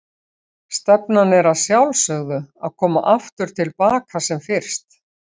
Stefnan er að sjálfsögðu að koma aftur til baka sem fyrst?